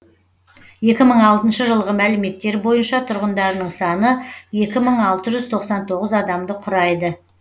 екі мың алтыншы жылғы мәліметтер бойынша тұрғындарының саны екі мың алты жүз тоқсан тоғыз адамды құрайды